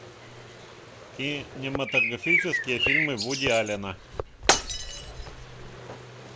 кинематографические фильмы вуди аллена